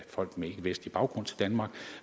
folk med ikkevestlig baggrund til danmark